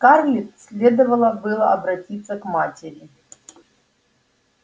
скарлетт следовало бы обратиться к матери